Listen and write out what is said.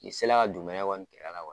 Ni se la dugumɛnɛ